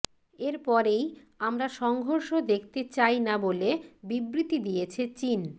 এরপরেই আমরা সংঘর্ষ দেখতে চাই না বলে বিবৃতি দিয়েছে চিন